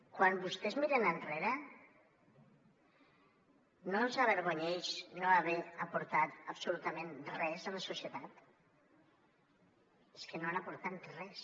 quan vostès miren enrere no els avergonyeix no haver aportat absolutament res a la societat és que no han aportat res